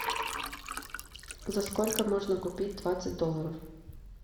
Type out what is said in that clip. за сколько можно купить двадцать долларов